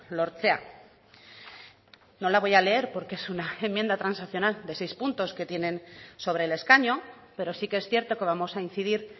lortzea no la voy a leer porque es una enmienda transaccional de seis puntos que tienen sobre el escaño pero sí que es cierto que vamos a incidir